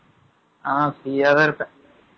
ஆங், free ஆதான் இருப்பேன்